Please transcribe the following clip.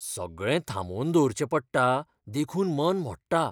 सगळें थांबोवन दवरचें पडटा देखून मन मोडटा.